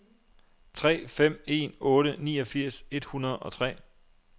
tre fem en otte niogfirs et hundrede og tre